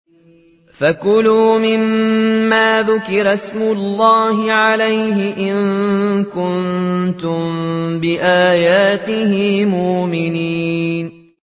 فَكُلُوا مِمَّا ذُكِرَ اسْمُ اللَّهِ عَلَيْهِ إِن كُنتُم بِآيَاتِهِ مُؤْمِنِينَ